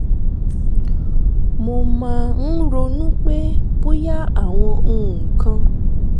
mo máa ń ronú pé bóyá àwọn nǹkan